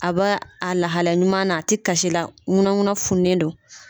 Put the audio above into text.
A bɛ a lahala ɲuman na a ti kasi la ŋunaŋuna fununen don.